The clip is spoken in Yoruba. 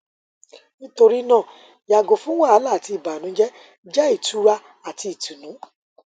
nitorina yago fun wahala ati ibanujẹ jẹ itura ati itunu